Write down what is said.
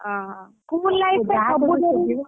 ଓହୋ school life ।